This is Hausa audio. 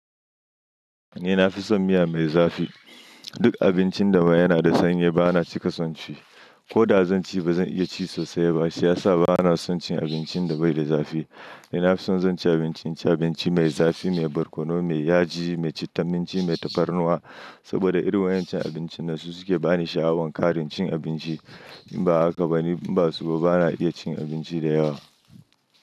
Ni nafi son miya mai zafi. Duk abincin da ma yana da sanyi ba na cika son ci. Ko da zan ci ba zan iya ci sosai ba, shi ya sa ba na son cin abincin da bai da zafi. Ni nafi son zan ci abinci, ci abinci mai zafi, mai barkono, mai yaji, mai citta minci, mai tafarnuwa saboda irin waƴance abincin ne su suke bani sha'awan ƙarin cin abinci. In ba haka ba ni ba su ba, ba na iya cin abinci da yawa.